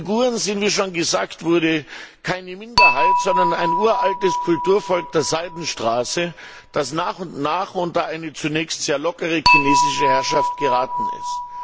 Die Uiguren sind wie schon gesagt wurde keine Minderheit, sondern ein uraltes Kulturvolk der Seidenstraße, das nach und nach unter eine zunächst sehr lockere chinesische Herrschaft geraten ist.